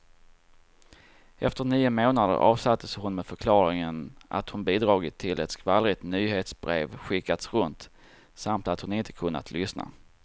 Efter nio månader avsattes hon med förklaringen att hon bidragit till att ett skvallrigt nyhetsbrev skickats runt, samt att hon inte kunnat lyssna.